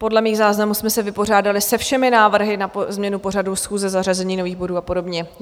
Podle mých záznamů jsme se vypořádali se všemi návrhy na změnu pořadu schůze, zařazení nových bodů a podobně.